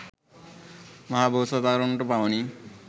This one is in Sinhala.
මහබෝසත්වරුන්ටම පමණි